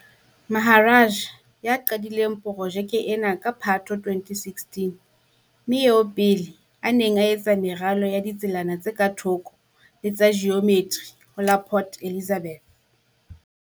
Maharaj ya qadileng pro -jekeng ena ka Phatho 2016, mme eo pele a neng a etsa meralo ya ditselana tse ka thoko le tsa jiometri ho la Port Elizabeth.